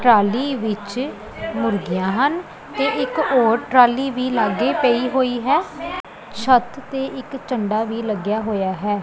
Trolley ਵਿੱਚ ਮੁਰਗੀਆਂ ਹਨ ਤੇ ਇੱਕ ਔਰ ਟਰਾਲੀ ਵੀ ਲੱਗੇ ਪਈ ਹੋਈ ਹੈ ਛੱਤ ਤੇ ਇੱਕ ਝੰਡਾ ਵੀ ਲੱਗਿਆ ਹੋਇਆ ਹੈ।